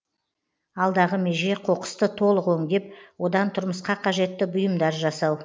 алдағы меже қоқысты толық өңдеп одан тұрмысқа қажетті бұйымдар жасау